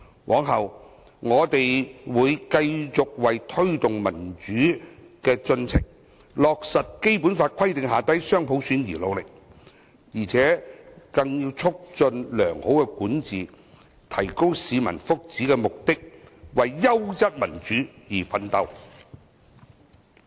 往後，我們會繼續為推動民主進程，落實《基本法》規定的雙普選而努力，並為促進良好管治、提高市民福祉，實行優質民主而奮鬥。